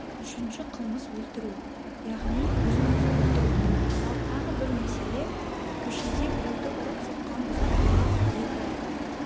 үшінші қылмыс өлтіру яғни өзін-өзі өлтіру ал тағы бір мәселе көшеде біреуді ұрып-соққан бұзақыға екі